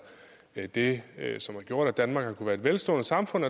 det som har gjort at danmark har kunnet være et velstående samfund